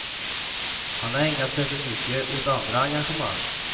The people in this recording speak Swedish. Han har ägnat sig för mycket åt andra engagemang.